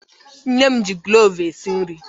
Nne m ji klovu esi nri